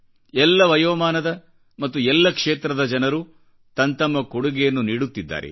ಎಲ್ಲ ವಯೋಮಾನದ ಮತ್ತು ಎಲ್ಲ ಕ್ಷೇತ್ರದ ಜನರುತಂತಮ್ಮ ಕೊಡುಗೆಯನ್ನು ನೀಡುತ್ತಿದ್ದಾರೆ